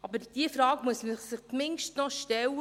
Aber diese Frage zumindest muss man sich noch stellen: